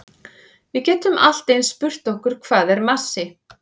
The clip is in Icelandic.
Við getum allt eins spurt okkur hvað er massi?